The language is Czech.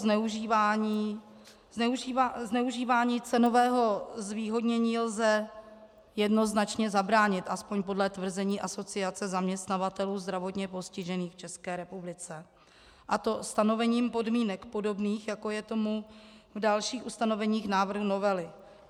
Zneužívání cenového zvýhodnění lze jednoznačně zabránit, aspoň podle tvrzení Asociace zaměstnavatelů zdravotně postižených v České republice, a to stanovením podmínek podobných, jako je tomu v dalších ustanoveních návrhu novely.